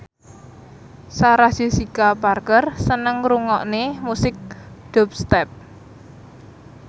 Sarah Jessica Parker seneng ngrungokne musik dubstep